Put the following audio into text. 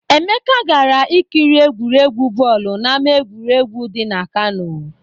Emeka gara ikiri egwuregwu bọọlụ n'ama egwuregwu dị na Kano.